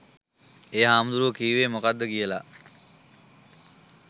ඒ හාමුදුරුවෝ කිව්වෙ මොකක්ද කියලා